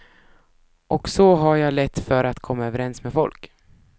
Och så har jag lätt för att komma överens med folk.